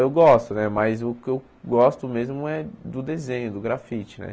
Eu gosto né, mas o que eu gosto mesmo é do desenho, do grafite né.